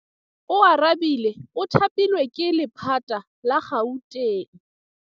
Oarabile o thapilwe ke lephata la Gauteng.